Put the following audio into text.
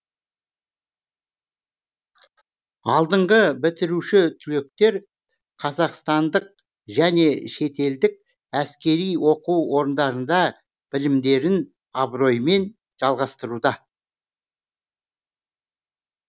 алдыңғы бітіруші түлектер қазақстандық және шетелдік әскери оқу орындарында білімдерін абыроймен жалғастыруда